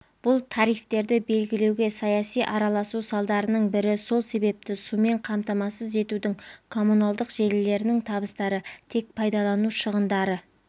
бұл тарифтерді белгілеуге саяси араласу салдарының бірі сол себепті сумен қамтамасыз етудің коммуналдық желілерінің табыстары тек пайдалану шығындары